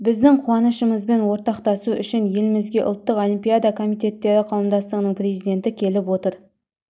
біздің қуанышымызбен ортақтасу үшін елімізге ұлттық олимпиада комитеттері қауымдастығының президенті келіп отыр